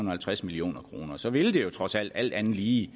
og halvtreds million kroner så ville det jo trods alt alt andet lige i